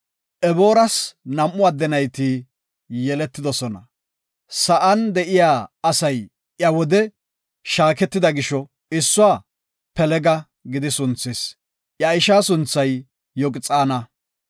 Ebooras nam7u adde nayti yeletidosona. Sa7an de7iya asay iya wode shaaketida gisho issuwa Pelega gidi sunthis. Iya ishaa sunthay Yoqxaana.